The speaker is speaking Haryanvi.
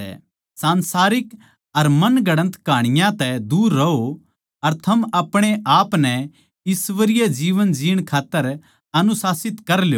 सांसारिक अर काल्पनिक कहाँनियाँ तै दूर रहों अर थम आपणेआपनै ईश्वरीय जीवन जीण खात्तर अनुशासित कर ल्यो